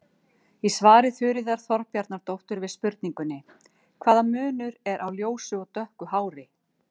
Í svari Þuríðar Þorbjarnardóttur við spurningunni: Hvaða munur er á ljósu og dökku hári?